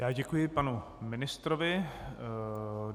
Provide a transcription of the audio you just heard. Já děkuji panu ministrovi.